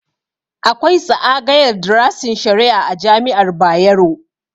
Akwai tsaagayar drasin shari'a a jami'ar Bayero